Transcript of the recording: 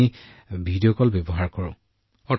হয় আমি video call ব্যৱহাৰ কৰোঁ